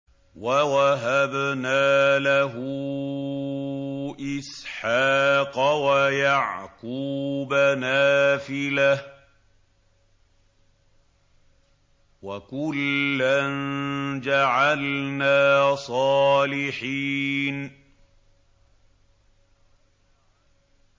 وَوَهَبْنَا لَهُ إِسْحَاقَ وَيَعْقُوبَ نَافِلَةً ۖ وَكُلًّا جَعَلْنَا صَالِحِينَ